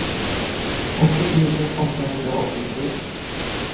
åttio tusen åttahundraåttiotre